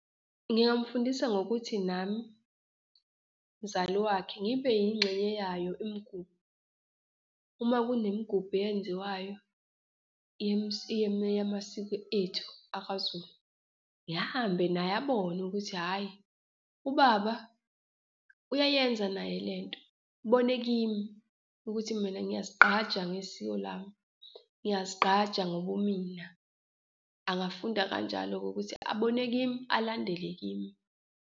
Ngingamfundisa ngokuthi nami mzali wakhe ngibe yingxenye yayo imigubho. Uma kunemigubho eyenziwayo yamasiko ethu akwaZulu, ngihambe naye, abone ukuthi hhayi, ubaba uyayenza naye le nto, ubone kimi ukuthi mina ngiyazigqaja ngesiko lami, ngiyazigqaja ngobumina. Angafunda kanjalo-ke ukuthi abone kimi, alandele kimi.